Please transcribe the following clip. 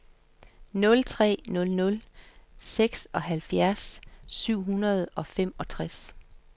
nul tre nul nul seksoghalvfjerds syv hundrede og femogtres